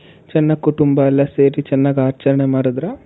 ಸಣ್ಣ ಕುಟುಂಬ ಎಲ್ಲ ಸೇರಿ ಚೆನ್ನಾಗಿ ಆಚರಣೆ ಮಾಡಿದ್ರ ?